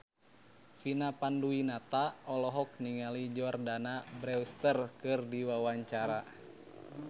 Vina Panduwinata olohok ningali Jordana Brewster keur diwawancara